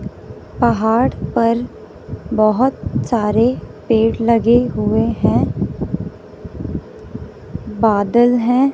पहाड़ पर बहोत सारे पेड़ लगे हुए हैं बादल हैं।